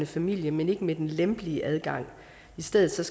familie men ikke med den lempelige adgang i stedet skal